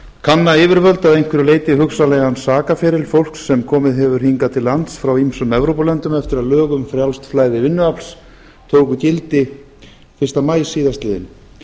kanna yfirvöld að einhverju leyti hugsanlegan sakaferil fólks sem komið hefur hingað til lands frá ýmsum evrópulöndum eftir að lög um frjálst flæði vinnuafls tóku gildi fyrsta maí síðastliðinn